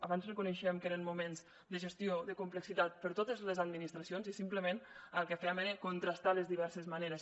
abans reconeixíem que eren moments de gestió de complexitat per totes les administracions i simplement el que fèiem era contrastar les diverses maneres